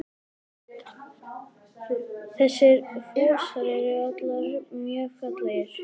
Þessir fossar eru allir mjög fallegir.